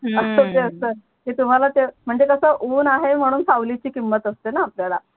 ते तुम्हाला ते म्हणजे कस उन आहे म्हणून सावलीची किमत असतेणा आपल्याला